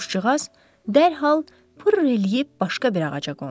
Quşcuğaz dərhal pırr eləyib başqa bir ağaca qondu.